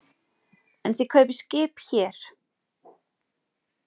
En þið kaupið skip hér.